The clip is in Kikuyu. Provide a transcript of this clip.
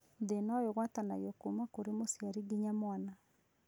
Thĩna ũyũ ũgwatanagio kuma kũrĩ mũciari nginya mwana